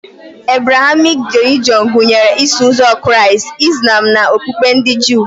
Ebrahamik relijọn gụnyere Iso ụzọ Kraịst, Izlam na okpukpe ndị Juu